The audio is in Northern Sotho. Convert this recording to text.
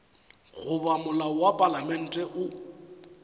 goba molao wa palamente o